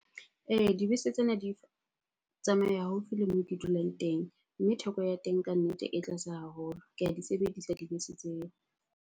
Ee, dibese tsena di tsamaya haufi le moo ke dulang teng mme theko ya teng ka nnete e tlase haholo. Ke a di sebedisa dibese tseo.